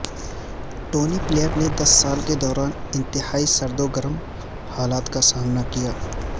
Tony Blair نے دس سال کے دوران انتہائی سرد و گرم حالات کا سامنا کیا